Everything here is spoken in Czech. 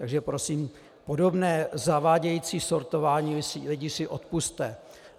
Takže prosím, podobné zavádějící sortování lidí si odpusťte!